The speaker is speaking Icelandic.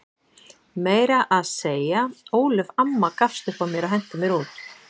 Meira að segja Ólöf amma gafst upp á mér og henti mér út.